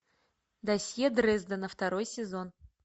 досье дрездена второй сезон